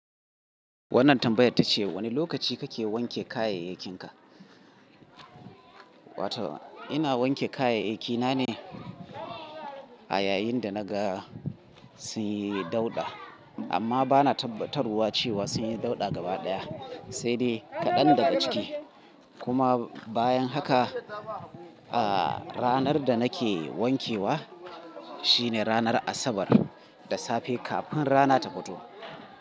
Wannan tambayar tace wane lokaci kake wanke kayayyakinka? Wato ina wanke kayayyakina ne a yayin da naga sun yi dauɗa. Amma bana tabatarwa cewa sun yi dauɗa gaba ɗaya, sai dai kaɗan daga ciki. Kuma bayan haka, a ranar da nake wankewa shine ranar Asabar da safe kafin rana ta fito.